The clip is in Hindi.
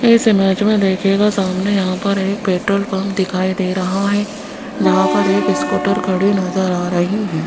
इस इमेज में देखिएगा सामने यहां पर एक पेट्रोल पंप दिखाई दे रहा है जहां पर एक स्कूटर खड़ी नजर आ रही है।